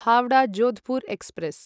Howrah Jodhpur express